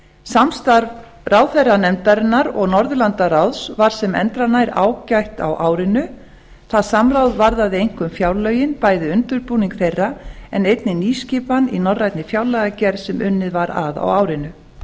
samstarf ráðherranefndarinnar og norðurlandaráðs var sem endranær ágætt á árinu það samráð varðaði einkum fjárlögin bæði undirbúning þeirra en einnig nýskipan í norrænni fjárlagagerð sem unnið var að á árinu